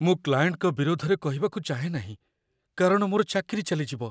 ମୁଁ କ୍ଲାଏଣ୍ଟଙ୍କ ବିରୋଧରେ କହିବାକୁ ଚାହେଁ ନାହିଁ କାରଣ ମୋର ଚାକିରି ଚାଲିଯିବ।